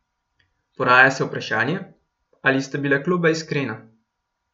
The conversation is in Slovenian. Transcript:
Poraja se vprašanje, ali sta bila kluba iskrena.